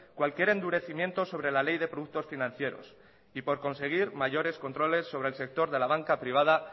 cualquier endurecimiento sobre la ley de productos financieros y por conseguir mayores controles sobre el sector de la banca privada